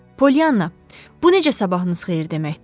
Pollyanna, bu necə sabahınız xeyir deməkdir?